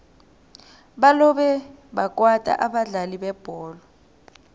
balobe bakwata abadlali bebholo